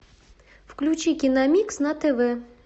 включи киномикс на тв